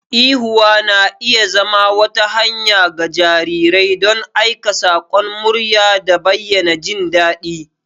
Ihuwa na iya zama wata hanya ga jarirai don aika sakon murya da bayyana jin daɗi.